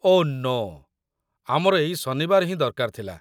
ଓଃ no, ଆମର ଏଇ ଶନିବାର ହିଁ ଦରକାର ଥିଲା ।